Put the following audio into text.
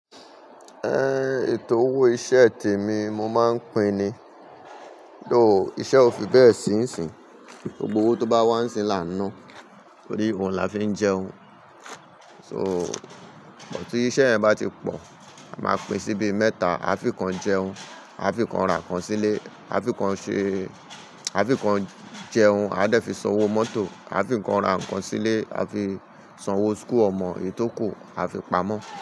Ẹn, èto owó iṣẹ t'èmi mo máa ń pín-in ni. Toò, iṣẹ́ ò fi bẹ́ẹ̀ sí ìsìn. Gbogbo owó tó bá wá ńsìn -ín làá ná, torí òun la fi ń jẹun. So, mó tí iṣẹ́ yẹn bá ti pọ̀, a máa pín sí bíi mẹ́ta. A fi kan jẹun, a fi kan ra nǹkan sílé, a fi kan ṣe, a fi kan jẹun, a dẹ̀ fi san owó mọ́tò, a fi kan ra nǹkan sílé, a fi san owó school ọmọ, èyí tò kù, a fi pamọ́